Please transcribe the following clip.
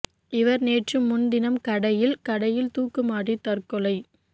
இவர் நேற்று முன்தினம் கடையில் கடையில் துாக்கு மாட்டி தற்கொலை